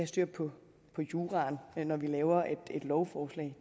styr på juraen når vi laver et lovforslag